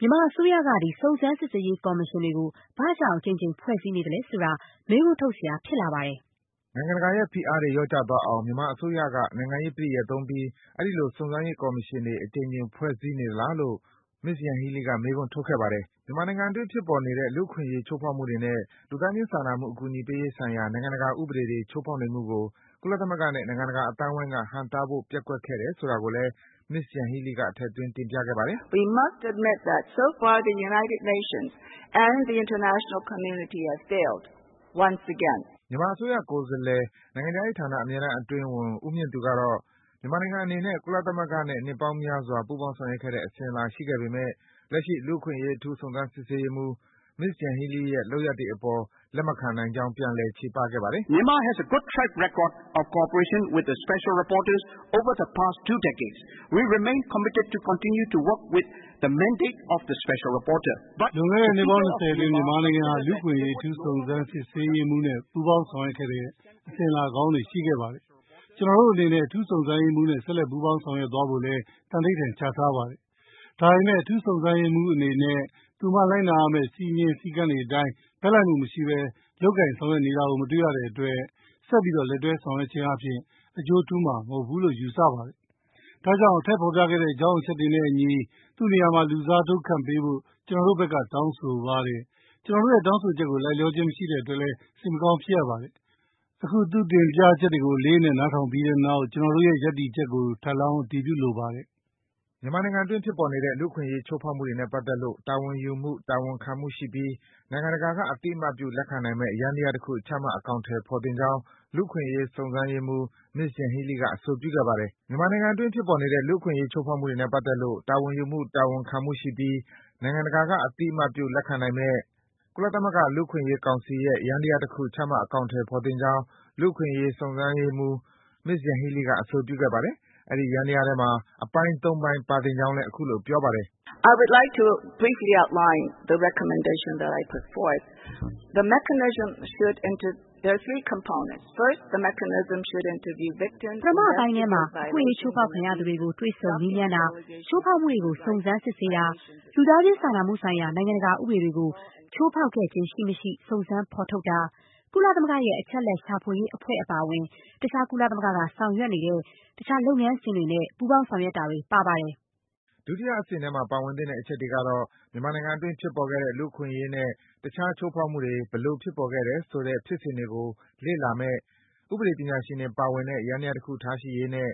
မြန်မာအစိုးရက စုံစမ်း စစ်ဆေးရေး ကော်မရှင်တွေကို ဘာကြောင့် အကြိမ်ကြိမ် ဖွဲ့စည်းနေသလဲဆိုတာ မေးခွန်းထုတ်စရာ ဖြစ်လာပါတယ်။” နိုင်ငံတကာရဲ့ ဖိအားတွေ လျော့ကျသွားအောင် မြန်မာအစိုးရက နိုင်ငံရေးပဋိယာယ်သုံးပြီး အဲဒီလို စုံစမ်းရေး ကော်မရှင်တွေ အကြိမ်ကြိမ် ဖွဲ့စည်းနေသလားလို့လည်း Yanhee Lee က မေးခွန်းထုတ်ခဲ့ပါတယ်။ မြန်မာနိုင်ငံအတွင်း ဖြစ်ပေါ်နေတဲ့ လူ့အခွင့်အရေး ချိုးဖောက်မှုတွေနဲ့ လူသားချင်းစာနာမှု အကူအညီပေးရေးဆိုင်ရာ နိုင်ငံတကာ ဥပဒေတွေ ချိုးဖောက်နေမှုကို ကုလသမဂ္ဂနဲ့ နိုင်ငံတကာ အသိုင်းဝိုင်းက ဟန့်တားဖို့ ပျက်ကွက်တယ်ဆိုတာကိုလည်း Yanhee Lee က ထည့်သွင်း တင်ပြခဲ့ပါတယ်။ မြန်မာအစိုးရ ကိုယ်စားလှယ် နိုင်ငံခြားရေးဌာန အဖွဲ့တမ်း အတွင်းဝန် ဦးမြင့်သူကတော့ မြန်မာနိုင်ငံအနေနဲ့ ကုလသမဂ္ဂနဲ့ နှစ်ပေါင်းများစွာ ပူးပေါင်းဆောင်ရွက်ခဲ့တဲ့ အစဉ်အလာ ရှိခဲ့ပေမယ့် လက်ရှိ လူ့အခွင့်အရေး အထူးစုံစမ်းရေးမှူး Ms. Yanhee Lee ရဲ့ လုပ်ရပ်တွေအပေါ် လက်မခံနိုင်ကြောင်း ပြန်လည် ချေပခဲ့ပါတယ်။ “လွန်ခဲ့တဲ့ နှစ်ပေါင်း ၂၀ အတွင်း မြန်မာနိုင်ငံဟာ လူ့အခွင့်အရေး အထူးစုံစမ်း စစ်ဆေးရေးမှူးနဲ့ ပူးပေါင်း ဆောင်ရွက်ခဲ့တဲ့ အစဉ်အလာကောင်းတွေ ရှိခဲ့ပါတယ်။ ကျနော်တို့အနေနဲ့ အထူးစုံစမ်းရေးမှူးနဲ့ ဆက်လက် ပူးပေါင်း ဆောင်ရွက်သွားဖို့လည်း သံဓိဌာန် ချထားပါတယ်။ ဒါပေမယ့် အထူးစုံစမ်းရေးမှူး အနေနဲ့ သူမ လိုက်နာရမယ့် စည်းမျဉ်း စည်းကမ်းတွေအတိုင်း ဘက်လိုက်မှုမရှိဘဲ လုပ်ကိုင် ဆောင်ရွက်တာကို မတွေ့ရတဲ့အတွက် သူမနဲ့ ဆက်ပြီး လက်တွဲဆောင်ရွက်ခြင်းအားဖြင့် အကျိုးထူးမှာ မဟုတ်ဘူးလို့ ယူဆပါတယ်။ ဒါကြောင့် အထက်ဖော်ပြပါ အကြောင်းချက်တွေနဲ့အညီ သူမနေရာမှာ လူစားထိုး ခန့်အပ်ပေးဖို့ ကျနော်တို့ဘက်က တောင်းဆိုပါတယ်။ ကျနော်တို့ရဲ့ တောင်းဆိုချက်ကို လိုက်လျောခြင်းမရှိတဲ့အတွက် စိတ်မကောင်းဖြစ်ရပါတယ်။ အခု သူမတင်ပြချက်တွေကို အလေးအနက် နားထောင်ပြီးတဲ့နောက် ကျနော်တို့ရဲ့ ရပ်တည်ချက်ကို ထပ်လောင်း အတည်ပြုလိုပါတယ်။” မြန်မာနိုင်ငံတွင်း ဖြစ်ပေါ်နေတဲ့ လူ့အခွင့်အရေး ချိုးဖောက်မှုတွေနဲ့ ပတ်သက်လို့ တာဝန်ယူမှု၊ တာဝန်ခံမှုရှိပြီး နိုင်ငံတကာက အသိအမှတ်ပြု လက်ခံနိုင်မယ့် ကုလသမဂ္ဂ လူ့အခွင့်အရေးဆိုင်ရာ ယန္တရားတခု ချမှတ် အကောင်အထည်ဖော်သင့်ကြောင်း လူ့အခွင့်အရေး စုံစမ်းရေးမှူး Yanhee Lee က အဆိုပြုခဲ့ပါတယ်။ အဲဒီ ယန္တရားထဲမှာ အပိုင်း ၃ ပိုင်း ပါသင့်ကြောင်း အခုလို ပြောပါတယ်။ “ပထမအပိုင်းထဲမှာ အခွင့်အရေး ချိုးဖောက်ခံရသူတွေကို တွေ့ဆုံ မေးမြန်းတာ၊ ချိုးဖောက်မှုတွေကို စုံစမ်း စစ်ဆေးတာ၊ လူသားချင်းစာနာမှုဆိုင်ရာ နိုင်ငံတကာ ဥပဒေတွေကို ချိုးဖောက်ခဲ့ခြင်း ရှိမရှိ စုံစမ်း ဖော်ထုတ်တာ၊ ကုလသမဂ္ဂရဲ့ အချက်အလက် ရှာဖွေရေးအဖွဲ့အပါအဝင် တခြား ကုလသမဂ္ဂက ဆောင်ရွက်နေတဲ့ တခြား လုပ်ငန်းစဉ်တွေနဲ့ ပူးပေါင်း ဆောင်ရွက်တာတွေ ပါဝင်ပါတယ်။” ဒုတိယအဆင့်ထဲမှာ ပါဝင်သင့်တဲ့ အချက်တွေကတော့ - မြန်မာနိုင်ငံအတွင်း ဖြစ်ပေါ်ခဲ့တဲ့ လူ့အခွင့်အရေးနဲ့ တခြား ချိုးဖောက်မှုတွေ ဘယ်လို ဖြစ်ပေါ်လာတယ်ဆိုတဲ့ ဖြစ်စဉ်တွေကို လေ့လာမယ့် ဥပဒေပညာရှင်တွေ ပါဝင်တဲ့ ယန္တရားတခု ထားရှိရေးနဲ့